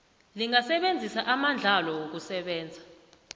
lingasebenzisa amandlalo wokusebenza